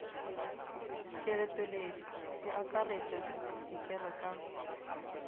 kelotpweledi e akaretpa dikelo ka